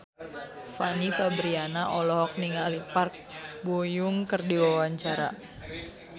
Fanny Fabriana olohok ningali Park Bo Yung keur diwawancara